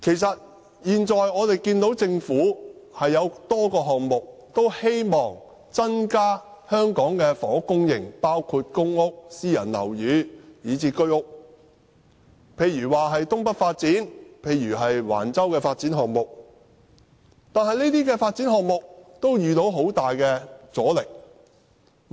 政府現時進行多個項目，希望增加房屋供應，包括公屋、私人樓宇及居屋，例如新界東北發展計劃和橫洲發展項目，但這些發展項目都遇到很大阻力。